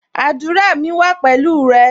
Àdúrà mi wa pẹ̀lú rẹ